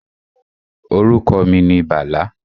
Orúkọ mi ni Bàlá